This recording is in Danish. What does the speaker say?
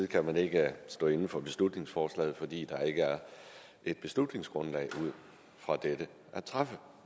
kan ikke stå inde for beslutningsforslaget fordi der ikke er et beslutningsgrundlag at træffe